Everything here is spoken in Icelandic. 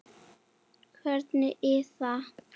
Kveðja Iða.